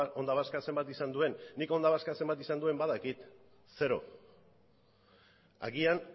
onda vascak zenbat izan duen nik onda vascak zenbat izan duen badakit zero agian